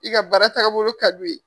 I ka baara tagabolo ka d'u ye.